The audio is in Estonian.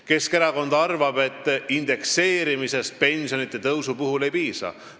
Keskerakond arvab, et pensionide indekseerimisest ei piisa.